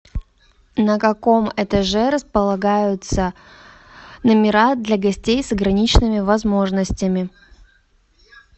на каком этаже располагаются номера для гостей с ограниченными возможностями